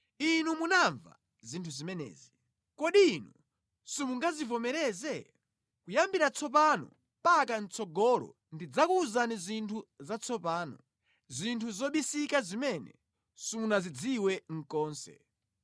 Inu munamva zinthu zimenezi. Kodi inu simungazivomereze? “Kuyambira tsopano mpaka mʼtsogolo ndidzakuwuzani zinthu zatsopano zinthu zobisika zimene simunazidziwe konse.